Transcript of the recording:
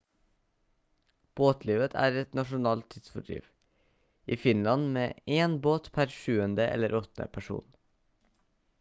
båtlivet er et nasjonalt tidsfordriv i finland med en båt per 7. eller 8. person